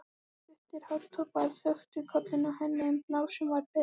Stuttir hártoppar þöktu kollinn á henni en hálsinn var ber.